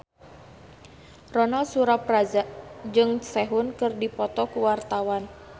Ronal Surapradja jeung Sehun keur dipoto ku wartawan